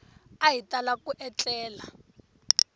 a hi tala ku etlela